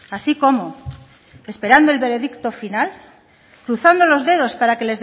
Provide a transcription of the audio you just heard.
así cómo esperando el veredicto final cruzando los dedos para que